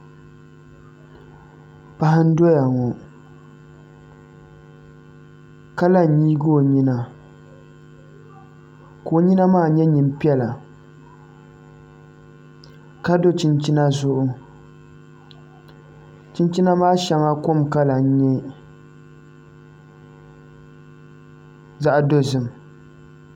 Paɣa n doya ŋo ka la n nyili o nyina ka o nyina maa nyɛ nyin piɛla ka do chinchina zuɣu chinchina maa shɛŋa kom kala n nyɛ zaɣ dozim